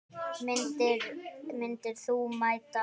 Myndir þú mæta?